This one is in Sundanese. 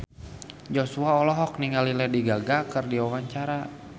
Joshua olohok ningali Lady Gaga keur diwawancara